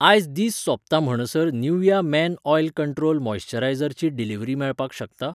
आयज दीस सोंपता म्हणसर Nivea men oil control moisturiser ची डिलिवरी मेळपाक शकता?